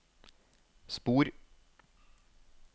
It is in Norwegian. spor